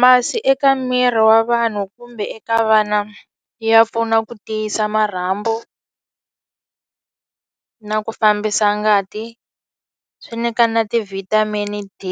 Masi eka miri wa vanhu kumbe eka vana ya pfuna ku tiyisa marhambu na ku fambisa ngati swi nyika na ti-vitamin D